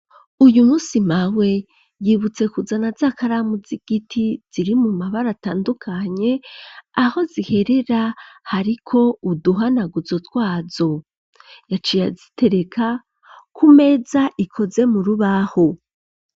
Uyu musi Mawe yibutse kuzana z'akaramu z'igiti ziri mu mabara atandukanye aho ziherera hariko uduhanaguzo twazo yaciye azitereka ku meza ikoze mu rubaho.